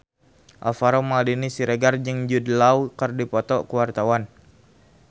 Alvaro Maldini Siregar jeung Jude Law keur dipoto ku wartawan